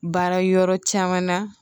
Baara yɔrɔ caman na